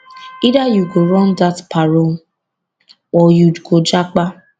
either you go run dat parole or you go japa